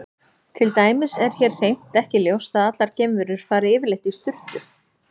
Til dæmis er hér hreint ekki ljóst að allar geimverur fari yfirleitt í sturtu.